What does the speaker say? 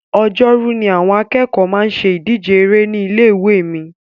Ọjọ́rú ni àwọn akẹ́kọ̀ọ́ máa ń ṣe ìdíje eré ní ilé ìwé mi